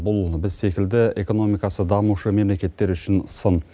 бұл біз секілді экономикасы дамушы мемлекеттер үшін сын